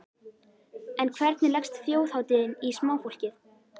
En hvernig leggst þjóðhátíðin í smáfólkið?